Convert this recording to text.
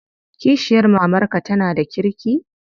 Kishiyar mamarka tana da kirki?